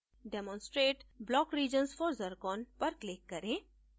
demonstrate block regions for zircon पर click करें